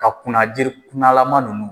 Ka kunna jiri kunnalama ninnu.